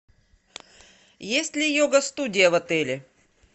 есть ли йога студия в отеле